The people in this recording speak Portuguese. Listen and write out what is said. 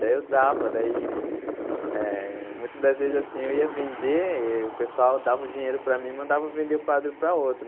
Daí eu dava, daí eh muito das vezes assim eu ia vender e o pessoal dava o dinheiro para mim e mandava vender o quadro pra outro.